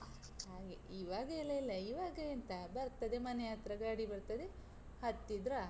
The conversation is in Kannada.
ಹಾಗೆ ಈವಾಗ ಎಲ್ಲ ಇಲ್ಲ. ಈವಾಗ ಎಂತ, ಬರ್ತದೆ ಮನೆ ಹತ್ರ ಗಾಡಿ ಬರ್ತದೆ, ಹತ್ತಿದ್ರಾ.